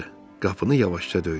Qapını yavaşca döydü.